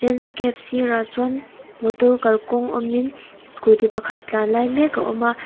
landscape sirah chuan motor kalkawng awmin scooty pakhat tlan lai mek a awm a.